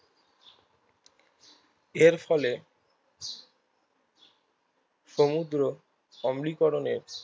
এরফলে সমুদ্র অবনীকরণের